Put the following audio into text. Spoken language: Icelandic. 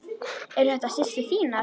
Eru þetta systur þínar?